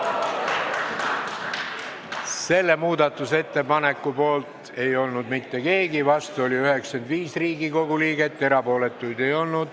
Hääletustulemused Selle muudatusettepaneku poolt ei olnud mitte keegi, vastu oli 95 Riigikogu liiget, erapooletuid ei olnud.